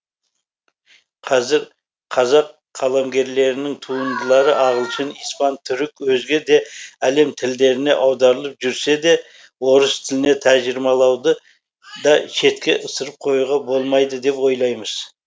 қазір қазақ қаламгерлерінің туындылары ағылшын испан түрік өзге де әлем тілдеріне аударылып жүрсе де орыс тіліне тәржімалауды да шетке ысырып қоюға болмайды деп ойлаймыз